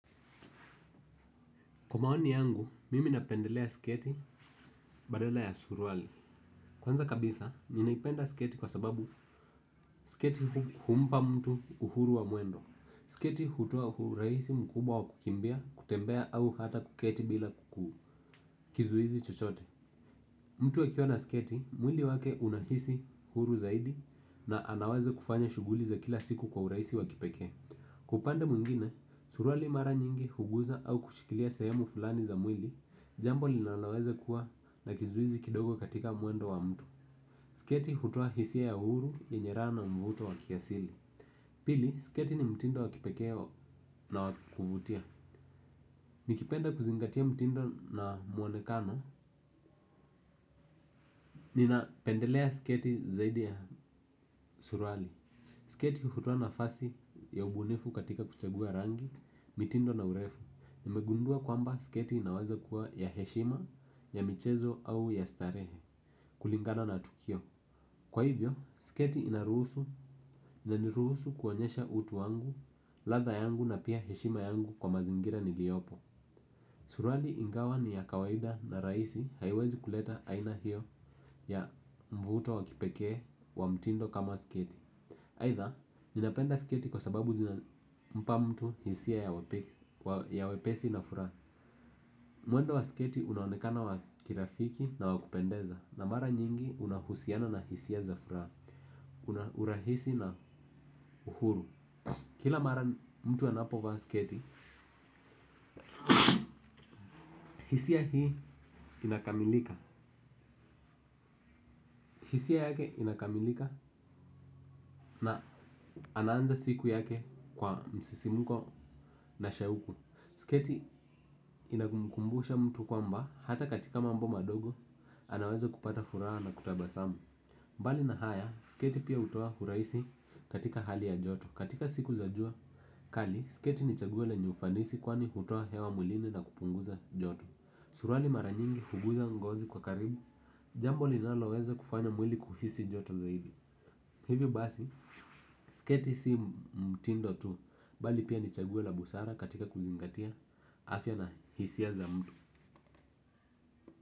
Kwa maoni yangu, mimi napendelea sketi badala ya suruali. Kwanza kabisa, ninaipenda sketi kwa sababu sketi humpa mtu uhuru wa mwendo. Sketi hutoa urahisi mkubwa wa kukimbia, kutembea au hata kuketi bila kizuizi chochote. Mtu akiwa na sketi, mwili wake unahisi huru zaidi na anaweza kufanya shughuli za kila siku kwa urahisi wa kipekee. Kwa upande mwingine, suruali mara nyingi huguza au kushikilia sehemu fulani za mwili. Jambo linoweza kuwa na kizuizi kidogo katika mulwendo wa mtu. Sketi hutoa hisia ya uhuru, yenye raha na mvuto wa kiasili. Pili, sketi ni mtindo wa kipekee na wa kuvutia. Nikipenda kuzingatia mtindo na mwonekano ninapendelea sketi zaidi ya suruali. Sketi hutoa nafasi ya ubunifu katika kuchagua rangi, mtindo na urefu. Nimegundua kwamba sketi inaweza kuwa ya heshima, ya michezo au ya starehe kulingana na tukio. Kwa hivyo, sketi inaruhusu inaniruhusu kuonyesha utu wangu ladha yangu na heshima yangu kwa mazingira niliyopo. Suruali ingawa ni ya kawaida na rahisi haiwezi kuleta aina hiyo ya mvuto wa kipekee wa mtindo kama sketi aidha, ninapenda sketi kwa sababu jina inampa mtu hisia ya wepesi na furaha. Mwendo wa sketi unaonekana wa kirafiki na wa kupendeza na mara nyingi unahusiana na hisia za furaha. Una urahisi na uhuru. Kila mara mtu anapovaa sketi hisia hii inakamilika. Hisia yake inakamilika na anaanza siku yake kwa msisimko na shauku. Sketi inamkumbusha mtu kwamba hata katika mambo madogo anaweza kupata furaha na kutabasamu. Mbali na haya, sketi pia hutoa urahisi katika hali ya joto. Katika siku za jua, kali, sketi ni chaguo lenye ufanisi kwani hutoa hewa mwilini na kupunguza joto. Suruali mara nyingi huguza ngozi kwa karibu, jambo linaloweza kufanya mwili kuhisi joto zaidi. Hivyo basi, sketi si mtindo tu. Bali pia ni chaguo la busara katika kuzingatia afya na hisia za mtu.